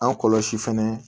An kɔlɔsi fɛnɛ